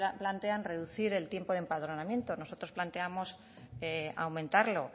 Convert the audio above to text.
plantean en reducir el tiempo de empadronamiento nosotros planteamos aumentarlo